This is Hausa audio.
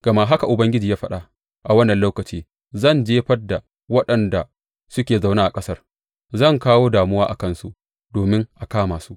Gama haka Ubangiji ya faɗa, A wannan lokaci zan jefar da waɗanda suke zaune a ƙasar; zan kawo damuwa a kansu domin a kama su.